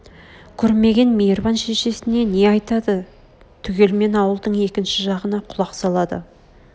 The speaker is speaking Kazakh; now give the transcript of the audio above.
көрмеген мейрбан шешесіне не деп айтады түгелмен ауылдың екінші жағына құлақ салады